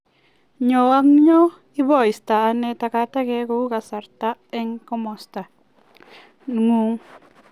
Nyo ak nyo: Ipoistoiane tagatakek kou kasrta en komosto ngung.